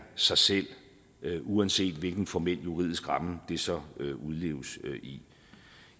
sig selv uanset hvilken formel juridisk ramme det så udleves i